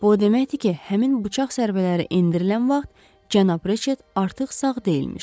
Bu o deməkdir ki, həmin bıçaq zərbələri endirilən vaxt cənab Riçet artıq sağ deyilmiş.